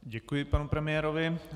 Děkuji panu premiérovi.